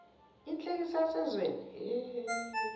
inhlekisa yasezweni hhe